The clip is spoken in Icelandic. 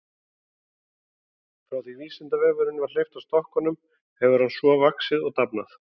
Frá því að Vísindavefnum var hleypt af stokkunum hefur hann svo vaxið og dafnað.